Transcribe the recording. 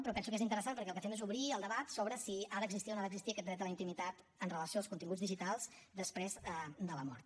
però penso que és interessant perquè el que fem és obrir el debat sobre si ha d’existir o no ha d’existir aquest dret a la intimitat amb relació als continguts digitals després de la mort